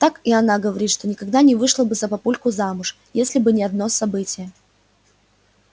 так и она говорит что никогда не вышла бы за папульку замуж если бы не одно событие